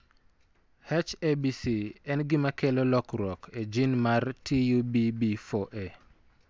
H ABC en gima kelo lokruok e gene mar TUBB4A.